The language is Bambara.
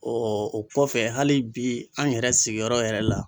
o kɔfɛ hali bi an yɛrɛ sigiyɔrɔ yɛrɛ la